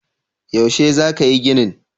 Yaushe za ka yi ginin?